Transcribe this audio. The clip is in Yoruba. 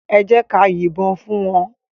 Èjèká yin bòn fún wán